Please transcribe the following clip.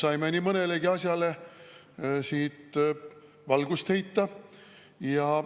Me saime nii mõnelegi asjale valgust heita.